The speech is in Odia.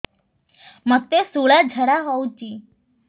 ମୋତେ ଶୂଳା ଝାଡ଼ା ହଉଚି